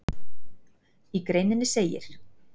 Í greininni segir